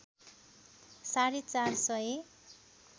साढे ४ सय